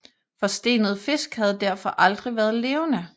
Forstenede fisk havde derfor aldrig været levende